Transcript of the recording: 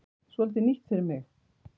Svolítið nýtt fyrir mig.